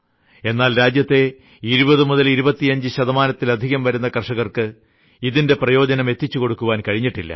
എന്നാൽ രാജ്യത്തെ 2025 ശതമാനത്തിലധികം വരുന്ന കർഷകർക്ക് ഇതിന്റെ പ്രയോജനം എത്തിച്ചുകൊടുക്കാൻ കഴിഞ്ഞിട്ടില്ല